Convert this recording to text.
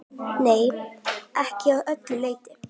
Nei, ekki að öllu leyti.